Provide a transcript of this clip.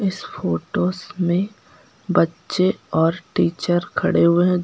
इस फोटोस में बच्चे और टीचर खड़े हुए हैं।